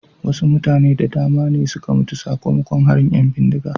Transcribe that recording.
wasu mutane da dama ne suka mutu sakamakon harin ‘yan bindiga.